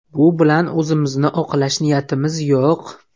Bu bilan o‘zimizni oqlash niyatimiz yo‘q.